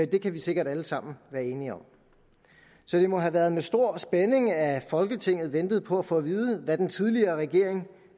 det kan vi sikkert alle sammen være enige om så det må have været med stor spænding at folketinget ventede på at få at vide hvad den tidligere regering